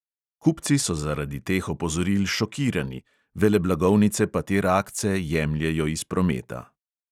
Kupci so zaradi teh opozoril šokirani, veleblagovnice pa te rakce jemljejo iz prometa.